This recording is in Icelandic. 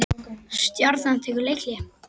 Stjarnan tekur leikhlé